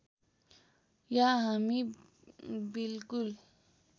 या हामी बिल्कुल